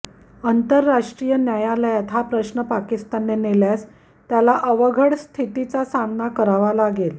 आंतरराष्ट्रीय न्यायालयात हा प्रश्न पाकिस्तानने नेल्यास त्याला अवघड स्थितीचा सामना करावा लागेल